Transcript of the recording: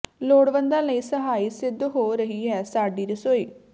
ਲੋੜਵੰਦਾਂ ਲਈ ਸਹਾਈ ਸਿੱਧ ਹੋ ਰਹੀ ਹੈ ਸਾਡੀ ਰਸੋਈ